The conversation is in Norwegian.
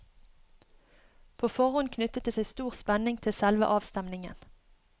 På forhånd knyttet det seg stor spenning til selve avstemningen.